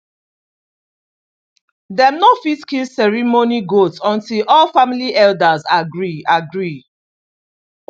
dem no fit kill ceremony goat until all family elders agree agree